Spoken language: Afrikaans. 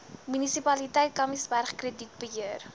munisipaliteit kamiesberg kredietbeheer